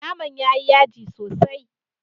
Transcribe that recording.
Naman ya yi yaji sosai.